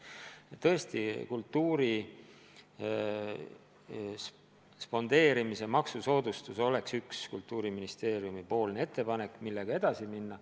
Ja tõesti, kultuuri spondeerimise maksusoodustus oleks üks Kultuuriministeeriumi ettepanek, millega edasi minna.